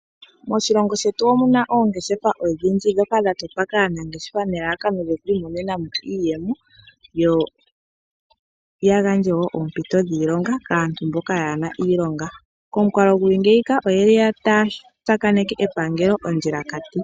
Moshilongo shetu omuna oongeshefa odhindji ndhoka dhatotwa aanafaalama nelalakano lyoku imonena mo iiyemo yo yagandje wo oompito dhiilonga kaantu mboka kaayena iilonga komukalo gwatya ngiika oyeli taya tsakaneke epangelo ondjilakati.